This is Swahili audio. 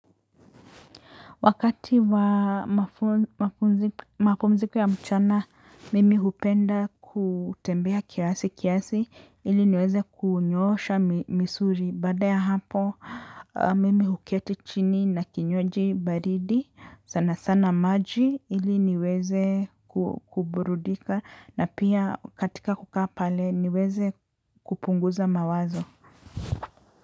Wakati wa mafumziko ya mchana, mimi hupenda kutembea kiasi kiasi ili niweze kunyoosha misuri. Baada ya hapo, mimi huketi chini na kinywaji baridi sana sana maji ili niweze kuburudika na pia katika kukaa pale niweze kupunguza mawazo.